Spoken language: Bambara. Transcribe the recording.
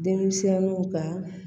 Denmisɛnnu ka